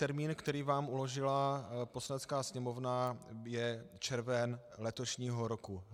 Termín, který vám uložila Poslanecká sněmovna, je červen letošního roku.